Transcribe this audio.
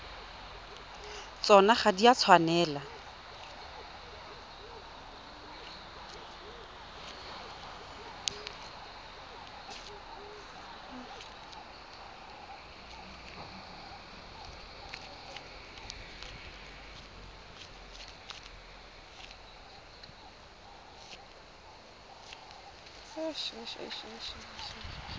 tsona ga di a tshwanela